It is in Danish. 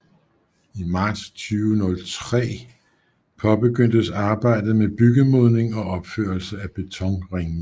I marts 2003 påbegyndtes arbejdet med byggemodning og opførelse af betonringmur